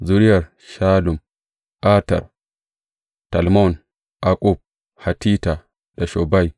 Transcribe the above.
Zuriyar Shallum, Ater, Talmon, Akkub, Hatita da Shobai